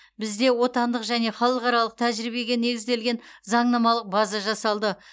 бізде отандық және халықаралық тәжірибеге негізделген заңнамалық база жасалды